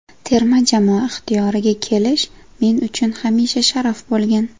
Terma jamoa ixtiyoriga kelish men uchun hamisha sharaf bo‘lgan.